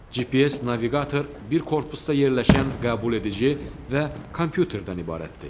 GPS naviqator bir korpusda yerləşən qəbuledici və kompüterdən ibarətdir.